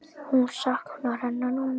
Hún saknar hennar núna.